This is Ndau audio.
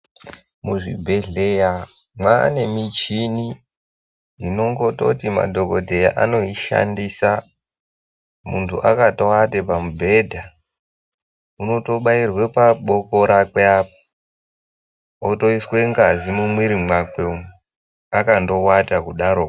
Muzvibhedhleya mwaane mishini inongototi madhokodheya anoishandisa muntu akatowate pamubhedha unotobairwe pabuoko rake apa otoiswe ngazi mumuwiri mwake umwu akandowata kudaro.